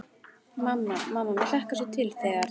Mamma, mamma mér hlakkar svo til þegar.